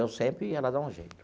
Eu sempre ia lá dar um jeito.